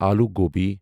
الو گوبی